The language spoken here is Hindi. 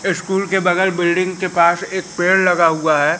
स्कूल के बगल बिल्डिंग के पास एक पेड़ लगा हुआ है।